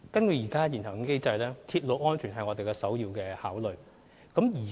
根據現行機制，鐵路安全是我們首要考慮。